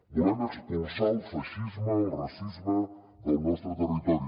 volem expulsar el feixisme el racisme del nostre territori